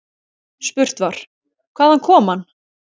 Spurt var: Hvaðan kom hann.